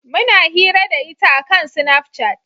Muna hira da ita a kan snafcat